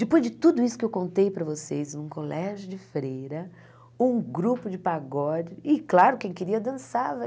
Depois de tudo isso que eu contei para vocês, um colégio de freira, um grupo de pagode e, claro, quem queria dançava.